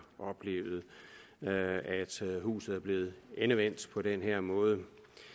oplevet at huset er blevet endevendt på den her måde